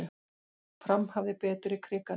Fram hafði betur í Krikanum